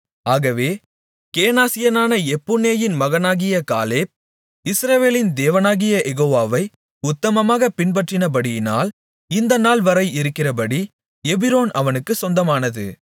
ஆகவே கேனாசியனான எப்புன்னேயின் மகனாகிய காலேப் இஸ்ரவேலின் தேவனாகிய யெகோவாவை உத்தமமாகப் பின்பற்றினபடியினால் இந்த நாள்வரை இருக்கிறபடி எபிரோன் அவனுக்குச் சொந்தமானது